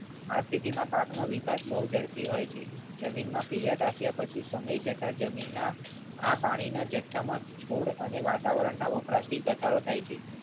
આ સ્થિતિમાં પાકનો વિકાસ બહુ ઝડપી હોય છે. જમીનમાં પિયત આપ્યા પછી સમય જતા જમીનના આ પાણીના જથ્થામાં છોડ અને વાતાવરણના ઉપરાડથી ઘટાડો થાય છે.